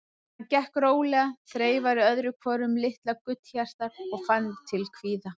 Hann gekk rólega, þreifaði öðru hvoru um litla gullhjartað og fann til kvíða.